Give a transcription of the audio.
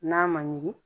N'a ma ɲigin